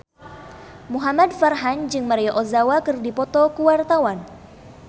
Muhamad Farhan jeung Maria Ozawa keur dipoto ku wartawan